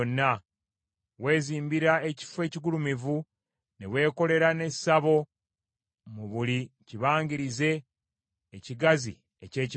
weezimbira ekifo ekigulumivu ne weekolera n’essabo mu buli kibangirizi ekigazi eky’ekibuga.